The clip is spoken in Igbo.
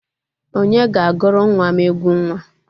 Onye ga-aguru nwa m egwu nwa?